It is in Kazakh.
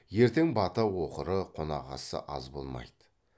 ертең бата оқыры қонақасысы аз болмайды